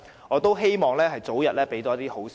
我希望可以早日收到好消息。